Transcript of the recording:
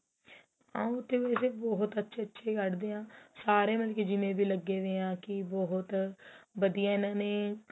ਆ ਉਥੇ ਵੈਸੇ ਬਹੁਤ ਅੱਛੇ ਅੱਛੇ ਕੱਢਦੇ ਹਾਂ ਸਾਰੇ ਮਤਲਬ ਜਿੰਨੇ ਵੀ ਲੱਗੇ ਵੇ ਕਿ ਬਹੁਤ ਵਧੀਆ ਇਹਨਾ ਨੇ